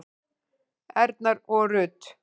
Erna og Rut.